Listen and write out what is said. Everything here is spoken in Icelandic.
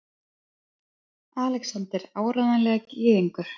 ALEXANDER: Áreiðanlega gyðingur!